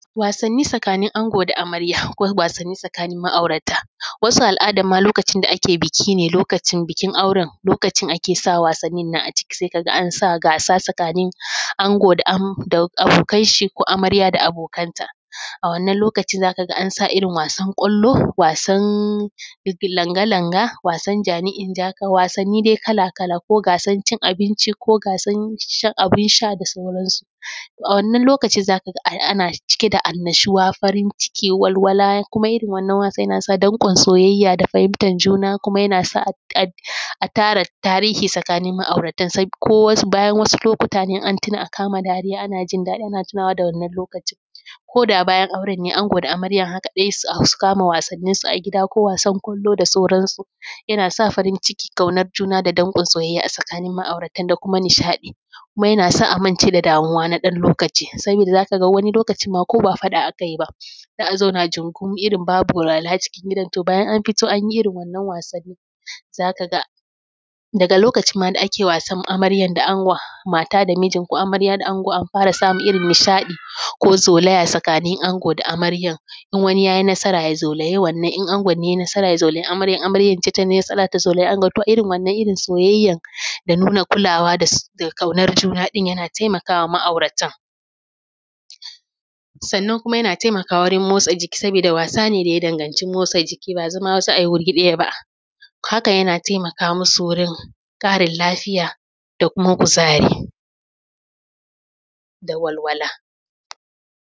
Wasanni tsakanin ango da amarya a ko wasanni tsakanin ma'aurata. Wasu al’adan ma lokacin da ake biki ne lokacin bikin auren lokacin ake sa wasanni nan a ciki, sai ka ga an sa gasa tsakanin ango da abokan shi, ko amarya da abokanta. A wannan lokacin za ka ga an sa irin gasan ƙwallo, wasan langa langa, wasan jani in jaka, wasanni dai kala kala. Ko gasan cin abinci, ko gasan shan abin sha da sauran su. A wannan lokacin za ka ga ana cike da annashuwa, farin ciki, walwala kuma irin wannan yana sa danƙon soyayya da fahimtar juna, kuma yana sa a tara tarihi tsakanin ma'aurata, ko bayan wasu lokutan in an tuna a kama dariya ana jin daɗi a tuna da wannan lokacin koda bayan auren ne ango da amarya haka dai su kama wasannin su a gida ko wasan ƙwallo da sauransu. Yana sa farin ciki ƙaunan juna da kuma danƙon soyayya a tsakanin ma'auratan da kuma nishaɗi. Kuma yana sa a mance da damuwa na ɗan wani lokaci saboda za ka ga wani lokacin ma ko ba faɗa aka yi ba za a zauna jungun irin babu walwala cikin gidan, to bayan an fito an yi irin wannan wasannin za ka ga daga lokacin ma da ake wasan amarya da angon, mata da mijin, ko amarya da angon an fara samun irin nishaɗi ko zaulaya tsakanin ango da amarya. In wani ya yi nasara ya zaulayi wannan in angon ne yai nasara ya zaulayi amaryan, in amaryan ne tai nasara ta zaulayi angon. To irin wannan irin soyayya da nuna kulawa da ƙaunar juna ɗin yana taimaka wa ma'auratan. Sannan kuma yana taimakawa wurin motsa jiki sabida wasa ne da ya danganci motsa jiki ba zama za ai wuri ɗaya ba, haka yana taimaka musu wurin ƙarin lafiya da kuma kuzari da walwala.